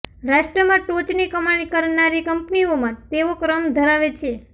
રાષ્ટ્રમાં ટોચની કમાણી કરનારી કંપનીઓમાં તેઓ ક્રમ ધરાવે છે